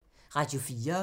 Radio 4